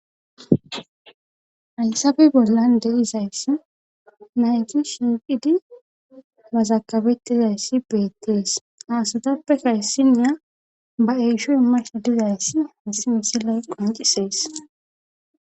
Alsaabe bollan deizayssi naygi shiiqidi mazakabetizayssi beettees aasutappe kayssiniya ba eesho imash dizayss hissi misiley qoncisees.